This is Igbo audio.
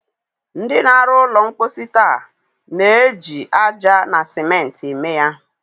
Ndị na-arụ ụlọ mposi taa na-eji aja na sèmenti eme ya.